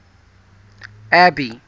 abby